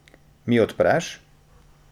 Mi odpreš?